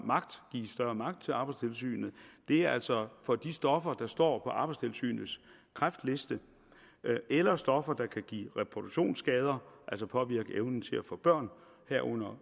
magt til arbejdstilsynet er altså for de stoffer der står på arbejdstilsynets kræftliste eller stoffer der kan give reproduktionsskader altså påvirke evnen til at få børn herunder